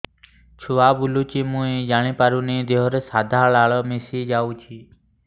ଛୁଆ ବୁଲୁଚି ମୁଇ ଜାଣିପାରୁନି ଦେହରୁ ସାଧା ଲାଳ ମିଶା ଯାଉଚି